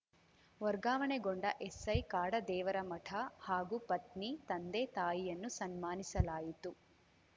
ವರ್ಗಾವಣೆಗೊಂಡ SI Kadadevaramath ಹಾಗೂ ಪತ್ನಿ ತಂದೆ ತಾಯಿಯನ್ನು ಸನ್ಮಾನಿಸಲಾಯಿತು